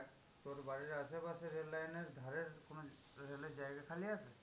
তোর বাড়ির আশেপাশে রেল লাইনের ধারের কোনো রেলের জায়গা খালি আছে?